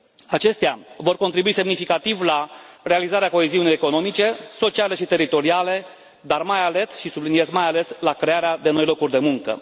Acestea vor contribui semnificativ la realizarea coeziunii economice, sociale și teritoriale, dar mai ales, și subliniez mai ales, la crearea de noi locuri de muncă.